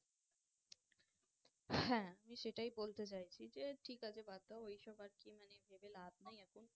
হ্যাঁ আমি সেটাই বলতে চাইছি যে ঠিক আছে বাদ দাও ওই সব আর কি মানে ভেবে লাভ নেই এখন